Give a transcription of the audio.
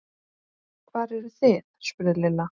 Hvar eruð þið? spurði Lilla.